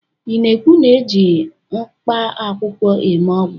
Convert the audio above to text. ị na-ekwu na eji mkpaakwụkwọ eme ọgwụ?